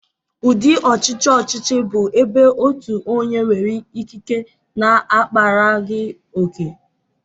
Ụdị ọchịchị ọchịchị bụ ebe otu onye nwere ikike na-akparaghị ókè.